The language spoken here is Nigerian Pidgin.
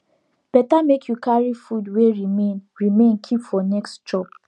better make you carry food wey remain remain keep for next chop